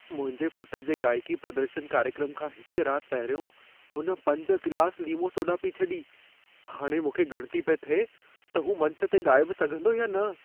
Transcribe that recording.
मुंहिंजे पुट जे गाइकी प्रदर्शन कार्यक्रम खां हिक रात पहिरियों हुन पंज गिलास लीमो सोडा पी छॾी। हाणे मूंखे ॻणिती पेई थिए त हू मंच ते ॻाए बि सघंदो या न।